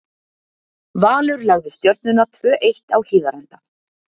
Valur lagði Stjörnuna, tvö eitt, á Hlíðarenda.